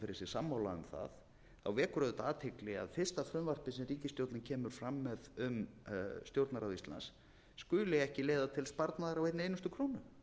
sammála um það þá vekur auðvitað athygli að fyrsta frumvarpið sem ríkisstjórnin kemur fram með um stjórnarráð íslands skuli ekki leiða til sparnaðar á einni einustu krónu